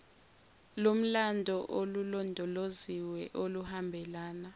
lomlando olulondoloziwe oluhambelana